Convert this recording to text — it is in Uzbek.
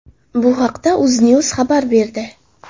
Bu haqda UzNews xabar berdi .